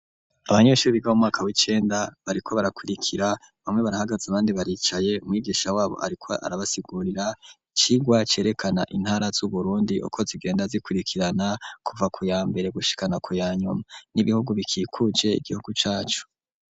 Abanyeshuri biga mu mwaka w'icenda bariko barakurikira bamwe barahagaze abandi baricaye mwigisha wabo ariko arabasigurira icirwa cerekana intara z'uburundi uko zigenda zikurikirana kuva kuya mbere gushikana ku yanyuma n'ibihugu bikikuje igihugu cacu.